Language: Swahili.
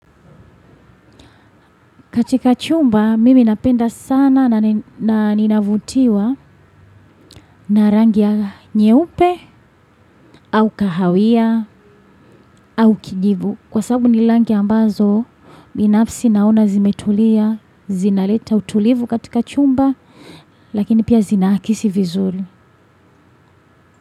Katika chumba mimi napenda sana na ninavutiwa narangiya nyeupe au kahawia au kijivu. Kwa sababu nirangi ambazo binafsi naona zimetulia, zinaleta utulivu katika chumba lakini pia zinaakisi vizuri.